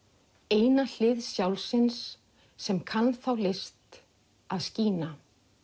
eina hlið sjálfsins sem kann þá list að skína